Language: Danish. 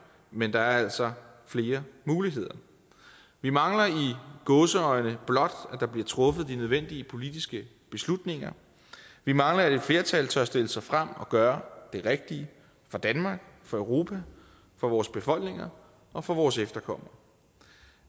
men der er altså flere muligheder vi mangler i gåseøjne blot at der bliver truffet de nødvendige politiske beslutninger vi mangler at et flertal tør stille sig frem og gøre det rigtige for danmark for europa for vores befolkninger og for vores efterkommere